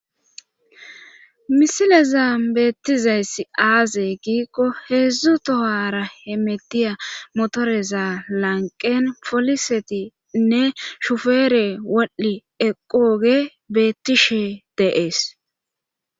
Misile zaam beettizayss aaze giikko heedzdzu tohara hemetiya motoreza lanqen folisetinne shufeere waal7i eqooge beettishe deees